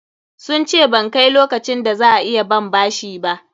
Sun ce ban kai lokacin da za a iya ban bashi ba.